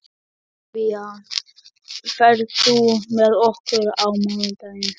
Ólafía, ferð þú með okkur á mánudaginn?